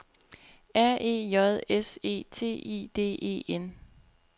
R E J S E T I D E N